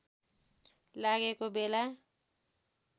लागेको बेला